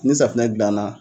Ni safunɛ jilan na.